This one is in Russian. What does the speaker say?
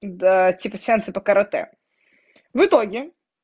да типа сеансы по каратэ в итоге